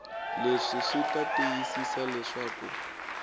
leswi swi ta tiyisisa leswaku